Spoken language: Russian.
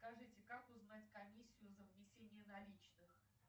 скажите как узнать комиссию за внесение наличных